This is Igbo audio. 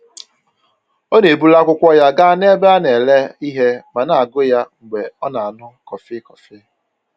Ọ na-eburu akwụkwọ ya gaa n'ebe a na-ere ihe ma na-agụ ya mgbe ọ na-aṅụ kọfị kọfị